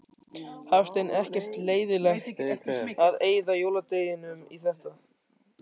Hafsteinn: Ekkert leiðilegt að eyða jóladeginum í þetta?